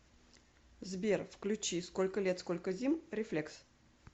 сбер включи сколько лет сколько зим рефлекс